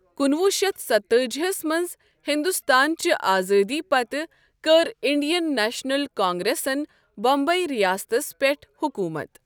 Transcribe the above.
کُنوُہ شیٚتھ ستأجی ہَس منٛز ہندوستان چہِ آزٲدی پتہٕ کٔر انڈین نیشنل کانگریسن بمبئی ریاستس پٮ۪ٹھ حکوٗمَت۔